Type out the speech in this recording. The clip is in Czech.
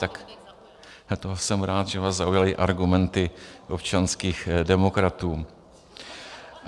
Tak to jsem rád, že vás zaujaly argumenty občanských demokratů.